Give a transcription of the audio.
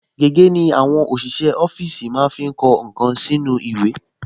Gègé ni àwọn ọṣìṣẹ́ ọfíìsì máa ń fi kọ nǹkan sínú ìwé